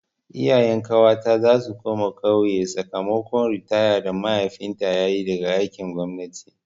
Iyayen ƙawata za su koma ƙauye sakamakon ritaya da mahaifinta yayi daga aikin gwamnati.